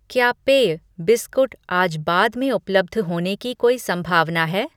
क्या पेय, बिस्कुट आज बाद में उपलब्ध होने की कोई संभावना है?